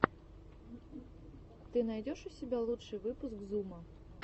ты найдешь у себя лучший выпуск зума